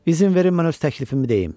İzin verin mən öz təklifimi deyim.